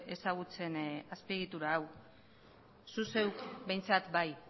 ezagutzen azpiegitura hau zu zeuk behintzat bai